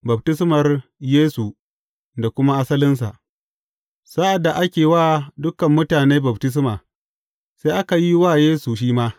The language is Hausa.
Baftismar Yesu da kuma asalinsa Sa’ad da ake wa dukan mutane baftisma, sai aka yi wa Yesu shi ma.